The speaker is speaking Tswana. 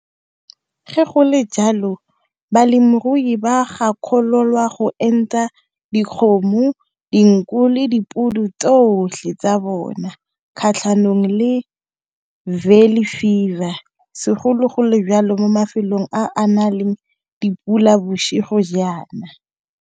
Ge go le jalo balemirui ba gakololwa go enta dikgomo, dinku, le dipudi tsotlhe tsa bona kgatlhanong le fever segologolo jalo mo mafelong a na leng dipula bosigo jaana.